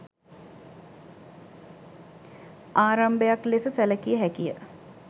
ආරම්භයක් ලෙස සැලකිය හැකිය.